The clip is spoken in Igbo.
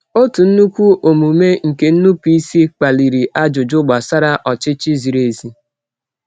Otu nnukwu omume nke nnupụisi kpaliri ajụjụ gbasara ọchịchị ziri ezi.